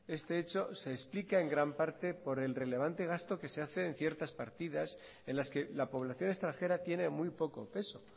este hecho se explica en gran parte por el relevante gasto que se hace en ciertas partidas en las que la población extranjera tiene muy poco peso